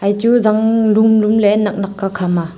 echu zang dumdum ley naknak ka khama.